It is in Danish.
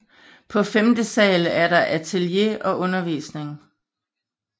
På femte sal er der atelie og undervisning